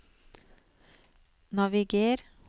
naviger